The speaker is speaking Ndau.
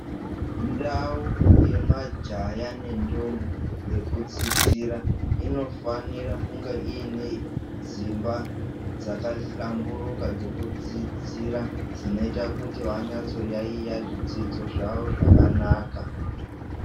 Ndau yemajaya nendombi yekudzidzira inofanira kunge iyine dzimba dzakahlamburuka dzekudzidzira dzinoita kuti vanyatso kuyaiya zvidzidzo zvavo zvakanaka.